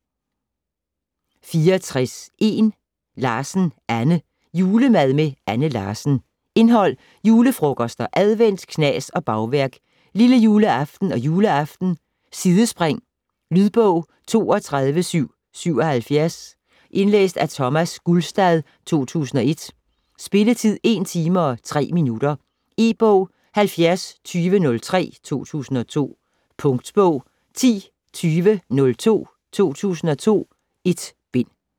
64.1 Larsen, Anne: Julemad med Anne Larsen Indhold: Julefrokoster, advent, knas og bagværk ; Lillejuleaften og juleaften ; Sidespring. Lydbog 32777 Indlæst af Thomas Gulstad, 2001. Spilletid: 1 timer, 3 minutter. E-bog 702003 2002. Punktbog 102002 2002. 1 bind.